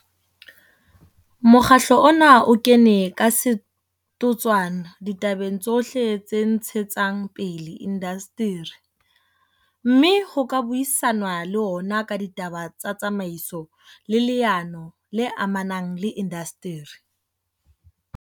Mokgatlo ona o kene ka setotswana ditabeng tsohle tse ntshetsang pele indasteri, mme ho ka buisanwa le ona ka ditaba tsa tsamaiso le leano le amanang le indasteri.